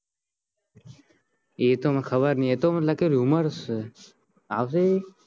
એતો મને ખબર નહિ એતો મને લાગે rumours છે આવસે એ